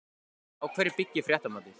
Á hverju byggir fréttamatið?